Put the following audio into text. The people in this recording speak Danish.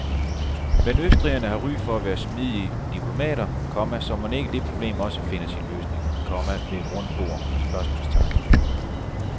Men østrigerne har ry for at være smidige diplomater, komma så mon ikke det problem også finder sin løsning, komma ved et rundt bord? spørgsmålstegn